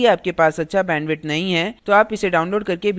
यदि आपके पास अच्छा bandwidth नहीं है तो आप इसे download करके देख सकते हैं